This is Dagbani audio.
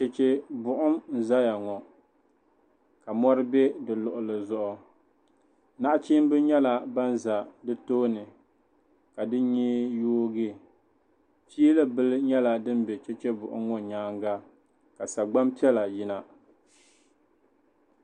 Chechebuɣum n-zaya ŋɔ ka mɔri be di luɣili zuɣu nachimba nyɛla ban za di tooni ka bɛ nyee yoogi fiilibila nyɛla din za cheche buɣum ŋɔ nyaaŋa ka sagbani piɛla yina.